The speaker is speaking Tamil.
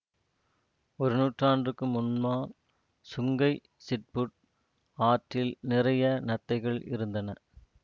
ஒரு நூற்றாண்டுக்கு முன்னால் சுங்கை சிப்புட் ஆற்றில் நிறைய நத்தைகள் இருந்தன